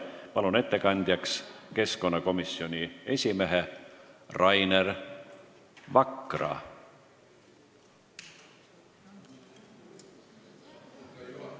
Palun ettekandjaks keskkonnakomisjoni esimehe Rainer Vakra!